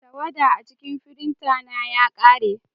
Tawada a cikin firinta na ya ƙare.